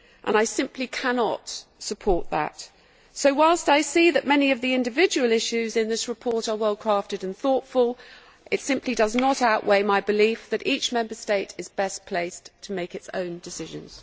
I simply cannot support that. Whilst I see that many of the individual issues in this report are well crafted and thoughtful, it simply does not outweigh my belief that each Member State is best placed to make its own decisions.